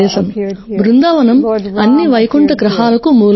బృందావనం అన్ని వైకుంఠ గ్రహాలకు మూలం